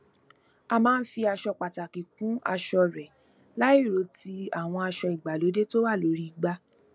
o maa n fi aṣọ pataki kun aṣọ rẹ lairo ti awọn aṣọ igbalode to wa lori igba